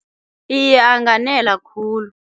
Iye, anganela khulu.